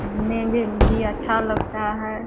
घूमने में भी अच्छा लगता है।